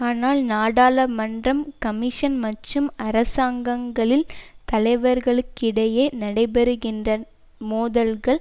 ஆனால் நாடாளுமன்றம் கமிஷன் மற்றும் அரசாங்கங்களின் தலைவர்களுக்கிடையே நடைபெறுகின்ற மோதல்கள்